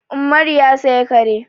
Umaru ya saya kare.